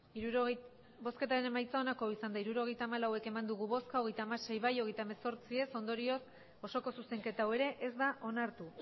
hirurogeita hamalau eman dugu bozka hogeita hamasei bai hogeita hemezortzi ez ondorioz osoko zuzenketa hau ere ez da onartu